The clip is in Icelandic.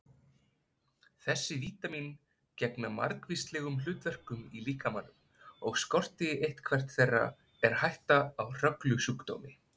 Þessi vítamín gegna margvíslegum hlutverkum í líkamanum og skorti eitthvert þeirra er hætta á hörgulsjúkdómi.